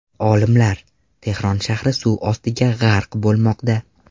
Olimlar: Tehron shahri suv ostiga g‘arq bo‘lmoqda.